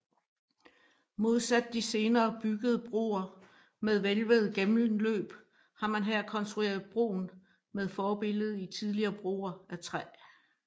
Modsat de senere byggede broer med hvælvede gennemløb har man her konstrueret broen med forbillede i tidligere broer af træ